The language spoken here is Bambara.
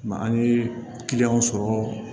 Mɛ an ye kiliyanw sɔrɔ